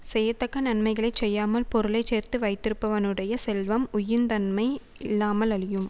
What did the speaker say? செய்யத்தக்க நன்மைகளைச் செய்யாமல் பொருளை சேர்த்து வைத்திருப்பவனுடைய செல்வம் உய்யுந் தன்மை இல்லாமல் அழியும்